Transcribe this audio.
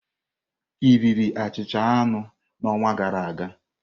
Ị riri achịcha anụ n'ọnwa gara aga?